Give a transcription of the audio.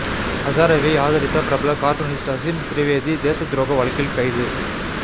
ஹசாரேவை ஆதரித்த பிரபல கார்டூனிஸ்ட் அசீம் திரிவேதி தேசத் துரோக வழக்கில் கைது